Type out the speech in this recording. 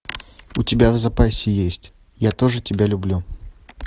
у тебя в запасе есть я тоже тебя люблю